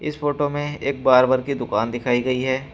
Photo में एक barber की दुकान दिखाई गई है।